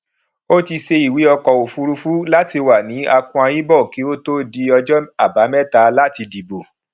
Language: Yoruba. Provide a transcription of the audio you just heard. ó ti ṣe ìwé ọkọ òfúrufú láti wà ní akwa ibom kí ó tó di ọjọ àbámẹta láti dìbò